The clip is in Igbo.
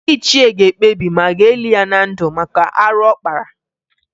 Ndị ichie ga-ekpebi ma a ga-eli ya na ndụ maka arụ ọ kpara